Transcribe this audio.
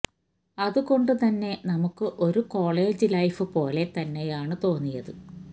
അതുകൊണ്ടു തന്നെ നമുക്ക് ഒരു കോളേജ് ലൈഫ് പോലെ തന്നയാണ് തോന്നിയത്